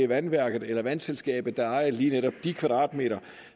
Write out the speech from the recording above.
vandværket eller vandselskabet der ejede lige netop de kvadratmeter